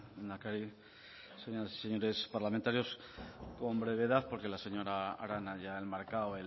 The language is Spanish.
lehendakari señoras y señores parlamentarios con brevedad porque la señora arana ya ha enmarcado